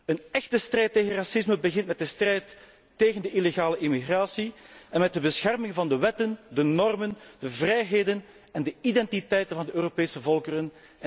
Een echte strijd tegen racisme begint met de strijd tegen de illegale immigratie en met de bescherming van de wetten, de normen, de vrijheden en de identiteiten van de Europese volkeren.